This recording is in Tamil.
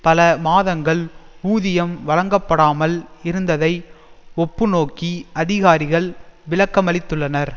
பல மாதங்கள் ஊதியம் வழங்கப்படாமல் இருந்ததை ஒப்புநோக்கி அதிகாரிகள் விளக்கமளித்துள்ளனர்